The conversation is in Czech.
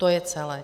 To je celé.